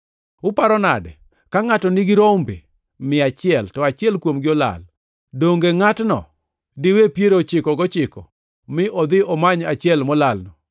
“Uparo nade? Ka ngʼato nigi rombe mia achiel, to achiel kuomgi olal, donge ngʼatno diwe piero ochiko gochikogo mi odhi omany achiel molalno?